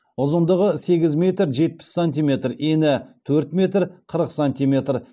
ұзындығы сегіз метр жетпіс сантиметр ені төрт метр қырық сантиметр